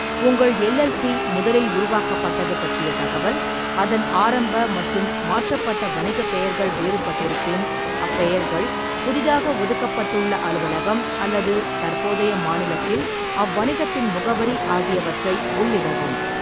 உங்கள் எல்எல்சி முதலில் உருவாக்கப்பட்டது பற்றிய தகவல், அதன் ஆரம்ப மற்றும் மாற்றப்பட்ட வணிகப் பெயர்கள் வேறுபட்டிருப்பின் அப்பெயர்கள், புதிதாக ஒதுக்கப்பட்டுள்ள அலுவலகம் அல்லது தற்போதைய மாநிலத்தில் அவ்வணிகத்தின் முகவரி ஆகியவற்றை உள்ளிடவும்.